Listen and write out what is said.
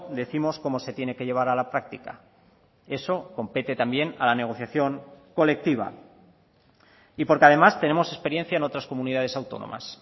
décimos cómo se tiene que llevar a la práctica eso compete también a la negociación colectiva y porque además tenemos experiencia en otras comunidades autónomas